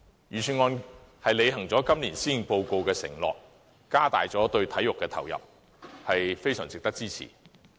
預算案履行了今年施政報告的承諾，加大了對體育的投入，是非常值得支持的。